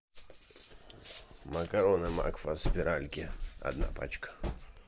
макароны макфа спиральки одна пачка